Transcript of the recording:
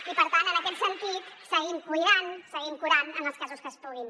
i per tant en aquest sentit seguim cuidant seguim curant en els casos que es pugui